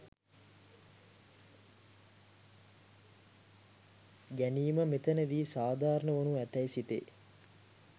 ගැනීම මෙතැනදී සාධාරණ වනු ඇතැයි සිතේ.